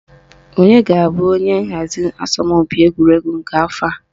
Onye ga-abụ onye nhazi asọmpi egwuregwu nke afọ a?